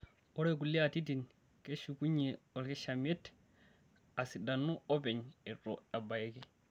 Ore kulie atitin, keshukunye olkishamiet asidanu openy eitu ebaki.